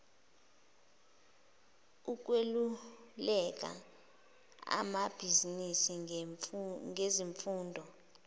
ukweluleka amabizinisi ngezimfuno